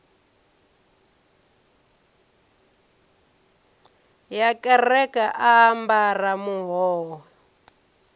ya kereke a ambara muhoyo